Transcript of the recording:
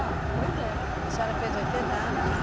anos, pois é. A senhora fez oitenta anos?